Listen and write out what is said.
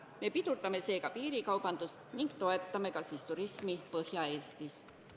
Me pidurdame seega piirikaubandust Lätis ning toetame turismi Põhja-Eestis.